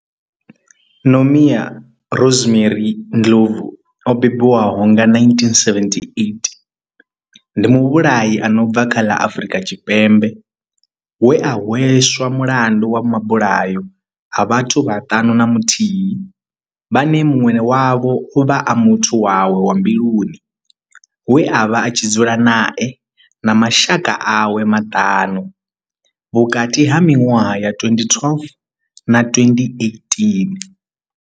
Nomia Rosemary Ndlovu o bebiwaho nga 1978 ndi muvhulahi a no bva kha ḽa Afurika Tshipembe we a hweswa mulandu wa mabulayo a vhathu vhaṱanu na muthihi vhane munwe wavho ovha a muthu wawe wa mbiluni we avha a tshi dzula nae na mashaka awe maṱanu vhukati ha minwaha ya 2012 na 2018.